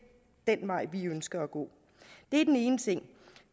den vej vi ønsker at gå det er den ene ting